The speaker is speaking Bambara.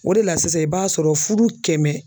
O de la sisan i b'a sɔrɔ fudu kɛmɛ.